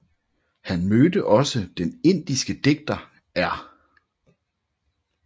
Han mødte også den indiske digter R